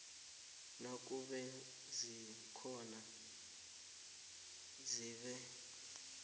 nakube zikhona zibe